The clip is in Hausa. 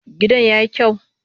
Gadon ya yi kyau?